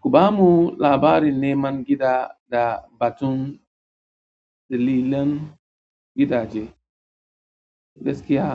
Ku bamu labarin neman gida da batun dillalan gidaje. Gaskiya,